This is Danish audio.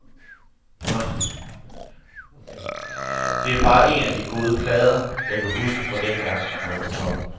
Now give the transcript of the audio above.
Det er bare en af de gode plader, jeg kan huske fra dengang, de var på toppen.